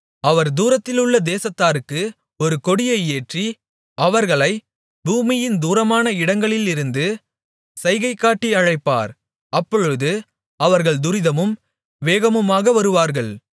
அவர் தூரத்திலுள்ள தேசத்தாருக்கு ஒரு கொடியை ஏற்றி அவர்களைப் பூமியின் தூரமான இடங்களிலிருந்து சைகைகாட்டி அழைப்பார் அப்பொழுது அவர்கள் துரிதமும் வேகமுமாக வருவார்கள்